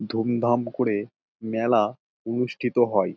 ধুমধাম করে মেলা অনুষ্ঠিত হয়।